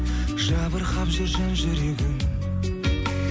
жабырқап жүр жан жүрегің